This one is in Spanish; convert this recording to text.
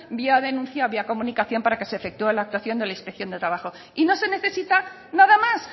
vía denuncia o vía comunicación para que se efectúe la actuación de la inspección de trabajo y no se necesita nada más